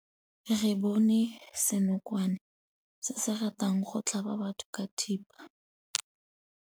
Re bone senokwane se se ratang go tlhaba batho ka thipa.